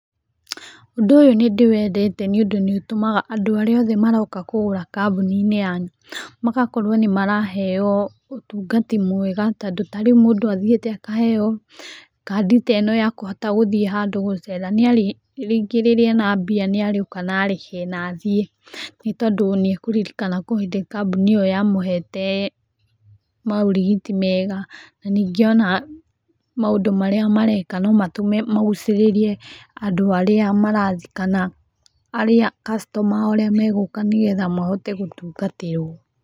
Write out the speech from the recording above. Ũndũ ũyũ nĩ ndĩwendete nĩ ũndũ nĩ ũtũmaga andũ arĩa othe maroka kũgũra kambuni-inĩ yanyu magakorwo nĩ maraheo ũtungati mwega tondũ ta rĩu mũndũ athiĩte akaheo kandi ta ĩno ya kũhota gũthiĩ handũ gũcera, rĩngĩ rĩrĩa ena mbia nĩ arĩũka na arĩhe na athiĩ tondũ nĩ akũririkana kwĩ hĩndĩ kambuni ĩyo yamũhete maũrigiti mega. Ningĩ ona maũndũ marĩa mareka no matũme magucĩrĩrie andu arĩa marathiĩ kana arĩa customer arĩa megũka nĩ getha mahote gũtungatĩrwo.